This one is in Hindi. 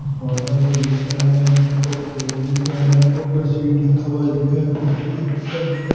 पौधा भी दिख रहा है यहां पर दिख रहा है यहां पर मशीन रखा हुआ दिख रहा है।